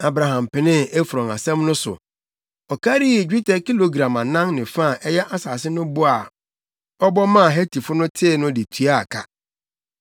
Abraham penee Efron asɛm no so. Ɔkarii dwetɛ kilogram anan ne fa a ɛyɛ asase no bo a ɔbɔ maa Hetifo no tee no de tuaa ka.